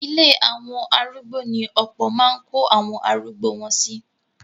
Ilé àwọn arúgbo ní ọ̀pọ̀ máa ń kó àwọn arugbo wọn sí.